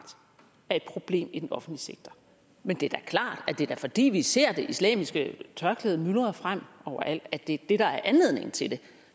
er et problem i den offentlige sektor men det er da klart at det er fordi vi ser det islamiske tørklæde myldre frem overalt at det er det der er anledningen til det